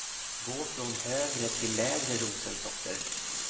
Gå från högre till lägre rosensorter.